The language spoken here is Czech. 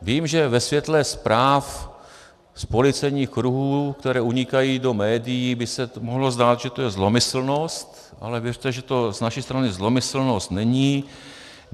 Vím, že ve světle zpráv z policejních kruhů, které unikají do médií, by se mohlo zdát, že to je zlomyslnost, ale věřte, že to z naší strany zlomyslnost není.